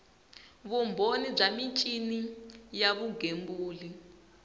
vumbhoni bya michini ya vugembuli